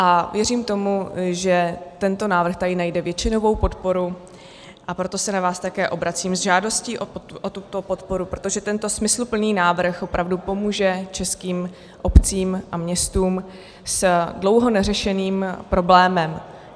A věřím tomu, že tento návrh tady najde většinovou podporu, a proto se na vás také obracím s žádostí o tuto podporu, protože tento smysluplný návrh opravdu pomůže českým obcím a městům s dlouho neřešeným problémem.